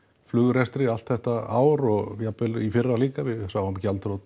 flugrekstri allt þetta ár og jafnvel í fyrra líka við sáum